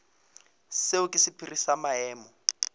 seo ke sephiri sa maemo